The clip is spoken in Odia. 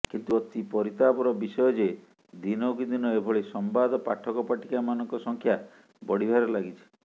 କିନ୍ତୁ ଅତି ପରିତାପର ବିଷୟ ଯେ ଦିନକୁ ଦିନ ଏଭଳି ସମ୍ବାଦ ପାଠକ ପାଠିକାମାନଙ୍କ ସଂଖ୍ୟା ବଢିବାରେ ଲାଗିଛି